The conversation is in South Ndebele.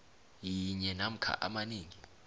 linye namkha amanengi